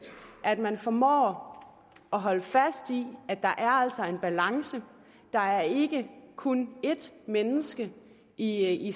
at man formår at holde fast i at der altså er en balance der er ikke kun ét menneske i